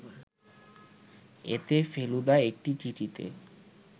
এতে ফেলুদা একটি চিঠিতে